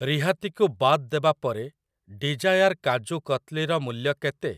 ରିହାତି କୁ ବାଦ୍ ଦେବା ପରେ ଡିଜାୟାର କାଜୁ କତଲି ର ମୂଲ୍ୟ କେତେ?